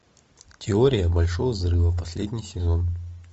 теория большого взрыва последний сезон